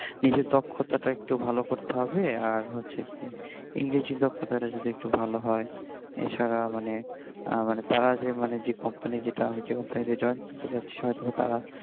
নিজের দক্ষতাটা একটু ভালো করতে হবে আর হচ্ছে কি ইংরেজির দক্ষতাটা যদি একটু ভালো হয় এছারা মানে আবার তারা যে মানে যে কোম্পানি যে মানে যেইটা যে কোম্পানি তে join করতে যাচ্ছি হয়তোবা তারা